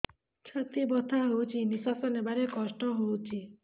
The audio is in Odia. ଛାତି ବଥା ହଉଚି ନିଶ୍ୱାସ ନେବାରେ କଷ୍ଟ ହଉଚି